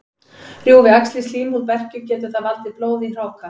Rjúfi æxlið slímhúð berkju, getur það valdið blóði í hráka.